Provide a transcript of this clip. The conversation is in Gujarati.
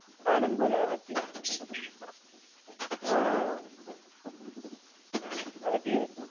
આનંદ બુલાવે હાચી વાત છે, હા, હાચી વાત